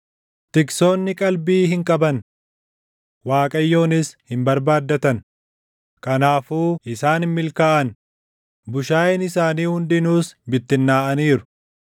Tiksoonni qalbii hin qaban; Waaqayyonis hin barbaaddatan; kanaafuu isaan hin milkaaʼan; bushaayeen isaanii hundinuus bittinnaaʼaniiru.